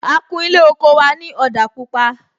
A kún Ilé oko wa ni òdà pupa